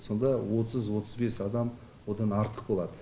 сонда отыз отыз бес адам одан артық болады